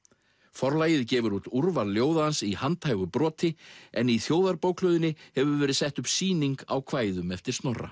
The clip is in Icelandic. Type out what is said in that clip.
Forlagið gefur út úrval ljóða hans í handhægu broti en í Þjóðarbókhlöðunni hefur verið sett upp sýning á kvæðum eftir Snorra